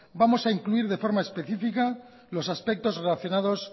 vamos a incluir de forma específica los aspectos relacionados